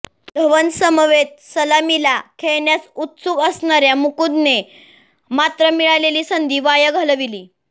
धवनसमवेत सलामीला खेळण्यास उत्सुक असणाऱया मुकुंदने मात्र मिळालेली संधी वाया घालविली